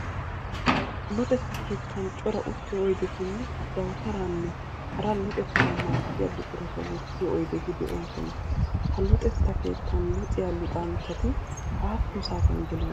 Luxetta keettan cora uttiyoo oydetinne dawutaraanne hara luxettawu maaddiya buqurata wottiyoo oydeti de'oosona. Ha luxetta keettan luxiyaa luxanchati aappun saatiyan geliyoona?